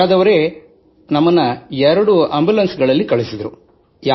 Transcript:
ಆಗ್ರಾದವರೇ 2 ambulance ನೀಡಿ ನಮ್ಮನ್ನು ಕಳುಹಿಸಿದರು